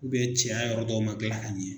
cɛya yɔrɔ dɔw man gilan ka ɲɛ.